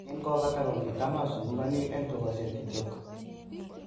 Kin kopata ko kitam asungugani en tugosiek kityok.